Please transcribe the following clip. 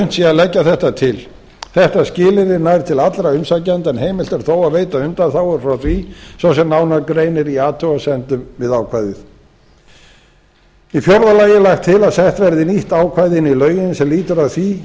unnt sé að leggja þetta til þetta skilyrði nær til allra umsækjenda en heimilt er þó að veita undanþágur frá því svo sem nánar greinir í athugasemdum við ákvæðið í fjórða lagi er lagt til að sett verði nýtt ákvæði inn í lögin sem lýtur að því